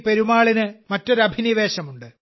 പെരുമാളിന് മറ്റൊരു അഭിനിവേശമുണ്ട്